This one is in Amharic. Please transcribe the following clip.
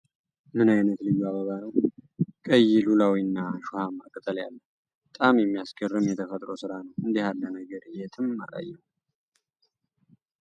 ምን አይነት ልዩ አበባ ነው! ቀይ፣ ሉላዊና እሾሃማ ቅጠል ያለው! በጣም የሚያስገርም የተፈጥሮ ስራ ነው! እንዲህ ያለ ነገር የትም አላየሁም!